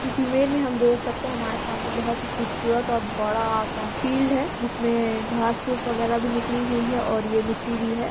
इस इमेज में हम देख सकते हैं हमारे सामने बहुत ही खूबसूरत और बड़ा सा फील्ड है जिसमें घास- फूस वगैरा भी निकली हुई है और ये मिट्टी भी है।